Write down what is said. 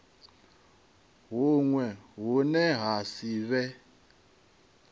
huṅwe hune ha si vhe